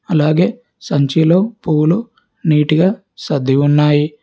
అలాగే సంచిలో పువ్వులు నీటుగా సర్ది ఉన్నాయి.